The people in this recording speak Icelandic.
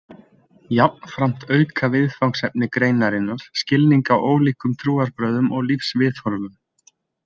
Jafnframt auka viðfangsefni greinarinnar skilning á ólíkum trúarbrögðum og lífsviðhorfum.